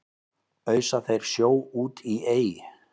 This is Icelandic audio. ausa þeir sjó út í ey